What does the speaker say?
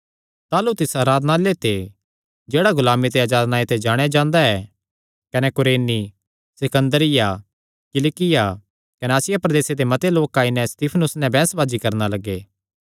ताह़लू तिस आराधनालय ते जेह्ड़ा गुलामी ते अजाद नांऐ ते जाणेयां जांदा ऐ कने कुरेनी सिकन्दरिया किलिकिया कने आसिया प्रदेसे दे मते लोक आई नैं सित्फनुस नैं बैंह्सबाजी करणा लग्गे